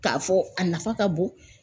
K'a fɔ a nafa ka bon